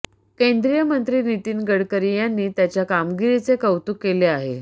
केंद्रीय मंत्री नितीन गडकरी यांनी त्याच्या कामगिरीचे कौतुक केले आहे